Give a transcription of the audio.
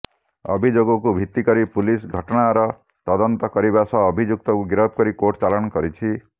ଅଭିଯୋଗକୁ ଭିତିକରି ପୁଲିସ ଘଟଣାର ତଦନ୍ତ କରିବା ସହ ଅଭିଯୁକ୍ତକୁ ଗିରଫ କରି କୋର୍ଟ ଚାଲାଣ କରିଛି